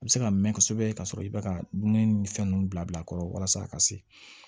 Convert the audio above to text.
A bɛ se ka mɛn kosɛbɛ ka sɔrɔ i bɛ ka dumuni ni fɛn ninnu bila bila a kɔrɔ walasa a ka se